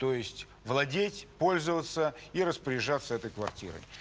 то есть владеть пользоваться и распоряжаться этой квартирой